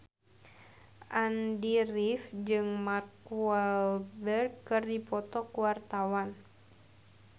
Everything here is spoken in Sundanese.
Andy rif jeung Mark Walberg keur dipoto ku wartawan